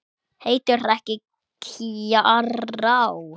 Heitir ekki Kjarrá!